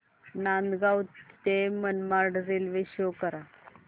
नांदगाव ते Manmad railway show करा